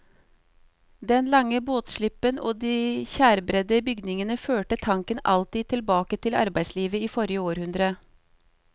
Den lange båtslippen og de tjærebredde bygningene førte tanken alltid tilbake til arbeidslivet i forrige århundre.